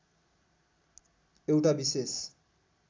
एउटा विशेष